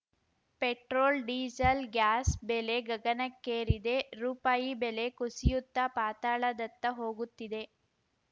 petrol diesel gas ಬೆಲೆ ಗಗನಕ್ಕೇರಿದೆ ರುಪಾಯಿ ಬೆಲೆ ಕುಸಿಯುತ್ತಾ ಪಾತಾಳದತ್ತ ಹೋಗುತ್ತಿದೆ